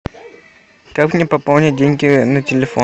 как мне пополнить деньги на телефон